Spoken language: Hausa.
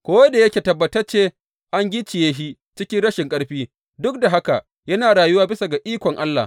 Ko da yake tabbatacce an gicciye shi cikin rashin ƙarfi, duk da haka, yana rayuwa bisa ga ikon Allah.